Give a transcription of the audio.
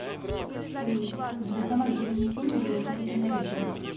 салют банкомат для внесения или снятия наличных